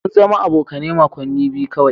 Mun zama abokane makoni biyu kawai.